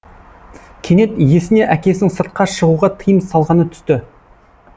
кенет есіне әкесінің сыртқа шығуға тыйым салғаны түсті